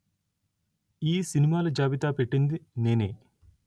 ఈ సినిమాల జాబితా పెట్టింది నేనే